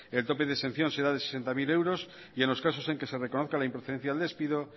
el tope de exención será de sesenta mil euros y en los casos que se reconozca la improcedencia del despido